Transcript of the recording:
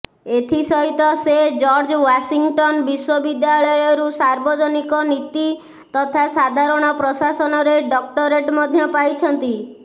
ଏଥି ସହିତ ସେ ଜର୍ଜ ୱାଶିଂଟନ୍ ବିଶ୍ୱବିଦ୍ୟାଳୟରୁ ସାର୍ବଜନୀକ ନୀତି ତଥା ସାଧାରଣ ପ୍ରଶାସନରେ ଡକ୍ଟରେଟ୍ ମଧ୍ୟ ପାଇଛନ୍ତି